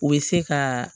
O bɛ se ka